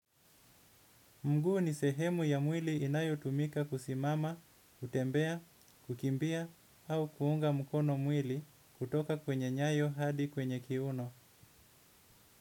Mguu ni sehemu ya mwili inayotumika kusimama, kutembea, kukimbia au kuunga mkono mwili kutoka kwenye nyayo hadi kwenye kiuno.